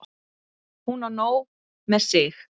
Hún á nóg með sig.